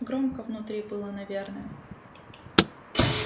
громко внутри было наверное